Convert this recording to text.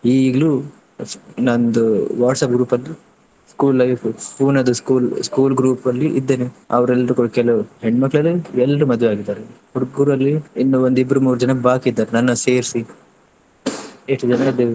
ಈಗ್ಲೂ ನಂದು WhatsApp group ಅದ್ದು school life Pune ದು school school group ಅಲ್ಲಿ ಇದ್ದೇನೆ ಅವ್ರು ಎಲ್ರು ಕೆಲವ್ರು ಹೆಣ್ಣ್ ಮಕ್ಕ್ಳೆಲ್ಲ ಎಲ್ರೂ ಮದ್ವೆ ಆಗಿದಾರೆ. ಹುಡುಗ್ರಲ್ಲಿ ಇನ್ನೂ ಒಂದು ಇಬ್ರು ಮೂರು ಜನ ಬಾಕಿ ಇದ್ದಾರೆ ನನ್ನನ್ನ ಸೇರಿಸಿ ಎಷ್ಟು ಜನ ಇದ್ದೇವೆ.